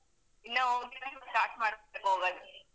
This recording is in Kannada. ಇನ್ನ ಹೋಗ್ಲಿಕ್ಕೆ start ಮಾಡ್ಬೇಕು ಹೊಗೋದು.